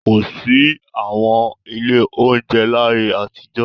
Kò sí àwọn ilé-oúnjẹ láyé àtijó.